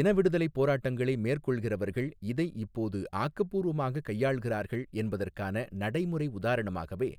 இனவிடுதலைப் போராட்டங்களை மேற்கொள்கிறவர்கள் இதை இப்போது ஆக்கபூர்வமாகக் கையாள்கிறார்கள் என்பதற்கான நடைமுறை உதாரணமாகவே